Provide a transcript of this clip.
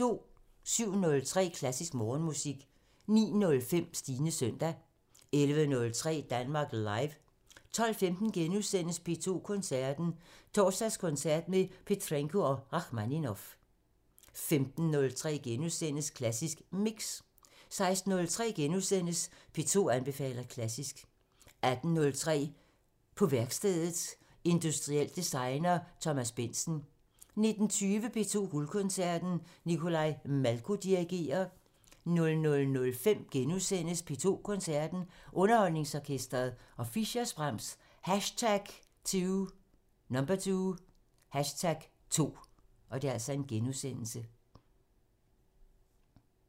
07:03: Klassisk Morgenmusik 09:05: Stines søndag 11:03: Danmark Live 12:15: P2 Koncerten – Torsdagskoncert med Petrenko og Rakhmaninov * 15:03: Klassisk Mix * 16:03: P2 anbefaler klassisk * 18:03: På værkstedet – Industriel designer Thomas Bentzen 19:20: P2 Guldkoncerten – Nikolai Malko dirigerer 00:05: P2 Koncerten – Underholdningsorkestret og Fischers' Brahms #2 *